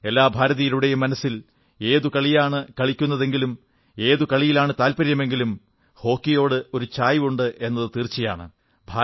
എല്ലാ ഭാരതീയരുടെയും മനസ്സിൽ ഏതു കളിയാണു കളിക്കുന്നതെങ്കിലും ഏതു കളിയിലാണ് താത്പര്യമെങ്കിലും ഹോക്കിയോടൊരു ചായ്വ് തീർച്ചയായും ഉണ്ടാകും